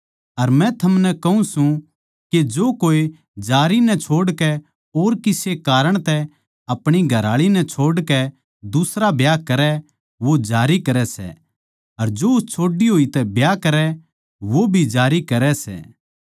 अर मै थमनै कहूँ सूं के जो कोए जारी नै छोड़कै और किसे कारण तै अपणी घरआळी नै छोड़कै दुसरा ब्याह करै वो जारी करै सै जो उस छोड्डी होई तै ब्याह करै वो भी जारी करै सै